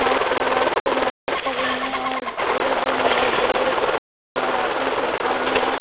Mask लगा के market कर रही है और अगल बगल में बहुत बड़े बड़े दुकान भी है राशन की दुकानें है।